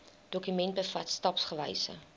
dokument bevat stapsgewyse